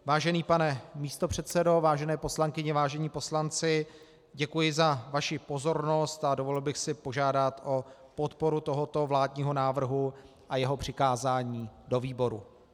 Vážený pane místopředsedo, vážené poslankyně, vážení poslanci, děkuji za vaši pozornost a dovolil bych si požádat o podporu tohoto vládního návrhu a jeho přikázání do výboru.